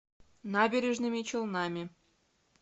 набережными челнами